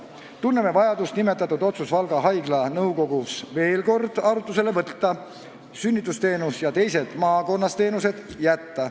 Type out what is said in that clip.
Tunneme vajadust nimetatud otsus Valga Haigla nõukogus veel kord arutusele võtta, sünnitusabiteenus ja teised teenused maakonnas alles jätta.